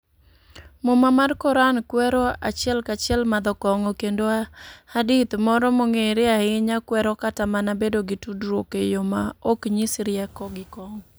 Muma mar Koran kwero achiel kachiel madho kong'o, kendo hadith moro mong'ere ahinya kwero kata mana bedo gi tudruok e yo maok nyis rieko gi kong'o